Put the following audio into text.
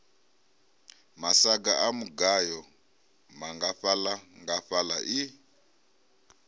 masaga a mugayo nngafhaḽangafhaḽa i